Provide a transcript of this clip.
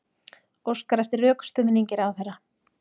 Óskar eftir rökstuðningi ráðherra